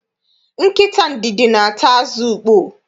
Nkịta ndidi na-ata azụ ukpoo.